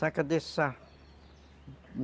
Saca de sal.